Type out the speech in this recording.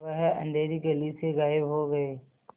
वह अँधेरी गली से गायब हो गए